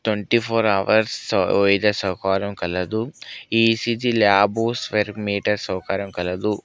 Twenty four hours ఇదే సౌకర్యం కలదు ఈ_సీ_జీ ల్యాబ్ స్పైరోమీటర్ సౌకర్యం కలదు.